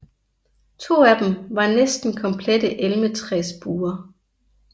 To af dem var næsten komplette elmetræsbuer